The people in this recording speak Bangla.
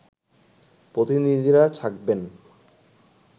প্রতিনিধিরা থাকবেন